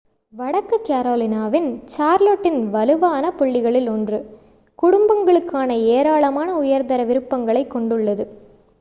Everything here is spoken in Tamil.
வடக்கு கரோலினாவின் சார்லோட்டின் வலுவான புள்ளிகளில் ஒன்று குடும்பங்களுக்கான ஏராளமான உயர்தர விருப்பங்களைக் கொண்டுள்ளது